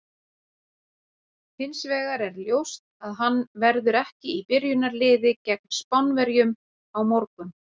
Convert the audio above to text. Hins vegar er ljóst að hann verður ekki í byrjunarliði gegn Spánverjum á morgun.